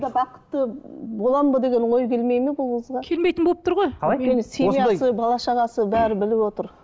бақытты боламын ба деген ой келмейді ме бұл қызға келмейтін болып тұр ғой семьясы бала шағасы бәрі біліп отыр